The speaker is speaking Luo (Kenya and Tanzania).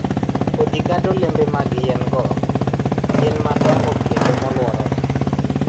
Kodhi kata olembe mag yien-go gin madongo kendo molworore.